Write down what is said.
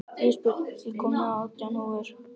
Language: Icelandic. Ísbjörn, ég kom með átján húfur!